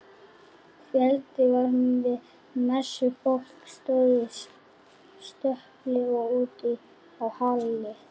Fjöldi var við messu, fólk stóð í stöpli og úti á hlaði.